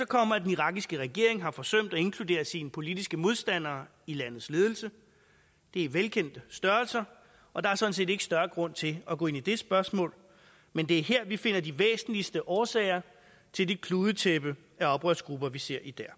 kommer at den irakiske regering har forsømt at inkludere sine politiske modstandere i landets ledelse det er velkendte størrelser og der er sådan set ikke større grund til at gå ind i det spørgsmål men det er her vi finder de væsentligste årsager til det kludetæppe af oprørsgrupper vi ser i dag